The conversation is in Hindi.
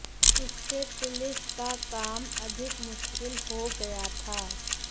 इससे पुलिस का काम अधिक मुश्किल हो गया था